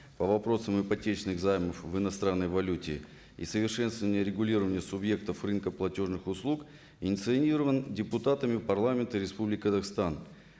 по вопросам ипотечных займов в иностранной валюте и совершенствование регулирования субъектов рынка платежных услуг инициирован депутатами парламента республики казахстан